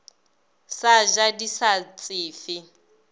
sa ja di sa tsefe